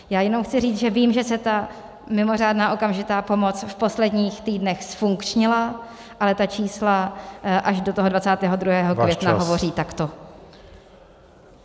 Já jenom chci říct, že vím, že se ta mimořádná okamžitá pomoc v posledních týdnech zfunkčnila, ale ta čísla až do toho 22. května hovoří takto.